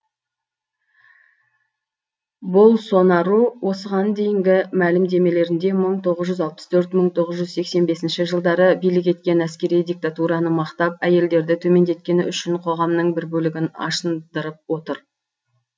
болсонару осыған дейінгі мәлімдемелерінде мың тоғыз жүз алпыс төрт мың тоғыз жүз сексен беснші жылдары билік еткен әскери диктатураны мақтап әйелдерді төмендеткені үшін қоғамның бір бөлігін ашындырып отыр